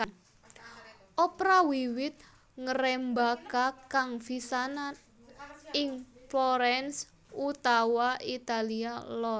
Opera wiwit ngrembaka kang pisanan ing Florence utawa Italia Lor